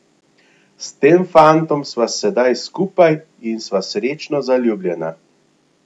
S tem fantom sva sedaj skupaj in sva srečno zaljubljena.